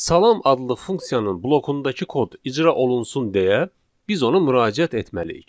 Salam adlı funksiyanın blokundakı kod icra olunsun deyə biz ona müraciət etməliyik.